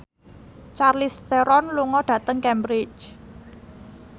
Charlize Theron lunga dhateng Cambridge